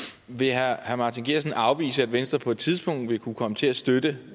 vil herre martin geertsen afvise at venstre på et tidspunkt vil kunne komme til at støtte